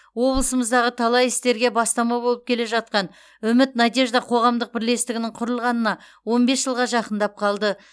облысымыздағы талай істерге бастама болып келе жатқан үміт надежда қоғамдық бірлестігінің құрылғанына он бес жылға жақындап қалды